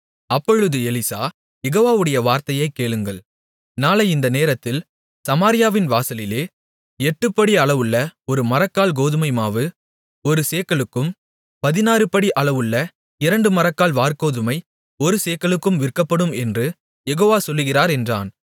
அப்பொழுது எலிசா யெகோவாவுடைய வார்த்தையைக் கேளுங்கள் நாளை இந்த நேரத்தில் சமாரியாவின் வாசலிலே எட்டுப்படி அளவுள்ள ஒருமரக்கால் கோதுமைமாவு ஒரு சேக்கலுக்கும் பதினாறுபடி அளவுள்ள இரண்டுமரக்கால் வாற்கோதுமை ஒரு சேக்கலுக்கும் விற்கப்படும் என்று யெகோவா சொல்லுகிறார் என்றான்